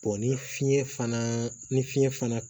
ni fiɲɛ fana ni fiɲɛ fana